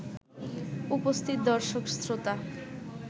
উপস্থিত দর্শক-শ্রোতা